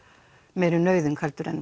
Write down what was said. meiri nauðung en